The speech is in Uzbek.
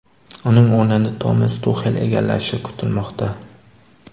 Uning o‘rnini Tomas Tuxel egallashi kutilmoqda.